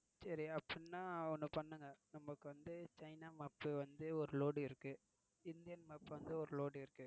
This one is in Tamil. சரி அப்படினா ஒன்னு பண்ணுங்க நமக்கு China mop ஒரு load இருக்கு இந்தியன் mop ஒரு load இருக்கு.